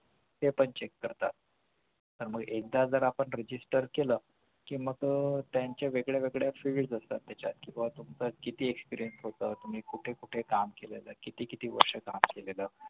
ते पण check करतात तर मग आपण एकदा जर आपण register केलं कि मग त्यांच्या वेगळ्या वेगळ्या fields असतात त्याच्यात व तुमचं किती experience होतं तुम्ही कुठे कुठे काम केलेलं आहे किती किती वर्ष काम केलेलं आहे